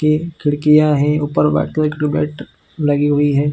के खिड़कियाँ है ऊपर व्हाइट व्हाइट ट्यूबलाइट लगी हुई हैं।